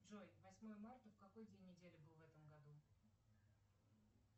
джой восьмое марта в какой день недели был в этом году